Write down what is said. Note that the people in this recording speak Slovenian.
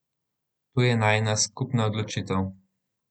To je najina skupna odločitev.